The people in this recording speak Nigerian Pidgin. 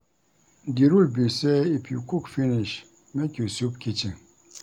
Di rule be sey if you cook finish make you sweep kitchen.